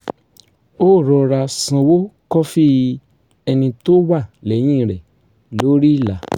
ó rọra sanwó kọfí ẹni tó wà lẹ́yìn rẹ̀ lórí ìlà